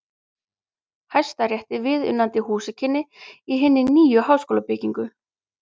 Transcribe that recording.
Hæstarétti viðunandi húsakynni í hinni nýju háskólabyggingu.